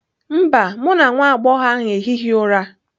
Mba, mụ na nwa agbọghọ ahụ ehighị ụra